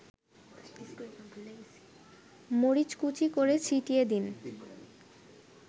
মরিচকুচি করে ছিটিয়ে দিন